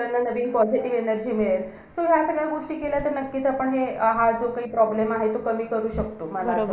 त्याच्यासाठी काय आहे का तुमच्याकडे म्हणजे की आपण अभ्यासात focus राहू आपल्याला मन control करायचा असेल तर आपल्याला .